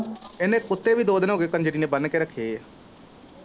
ਇੰਨੇ ਕੁੱਤੇ ਵੀ ਦੋ ਦਿਨ ਹੋਗੇ ਕੰਜਰੀ ਨੇ ਬੰਨ ਕੇ ਰੱਖੇ ਐ।